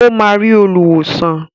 Ó máa rí olùwòsàn.